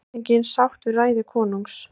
Drottningin sátt við ræðu konungs